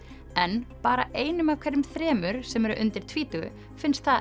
en bara einum af hverjum þremur sem eru undir tvítugu finnst